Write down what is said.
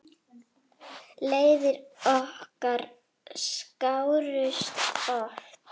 Leiðir okkar skárust oft.